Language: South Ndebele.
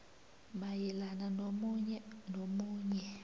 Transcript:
mayelana nomunye nomunye